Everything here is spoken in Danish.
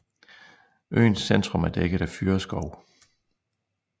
Øens centrum er dækket af fyrreskov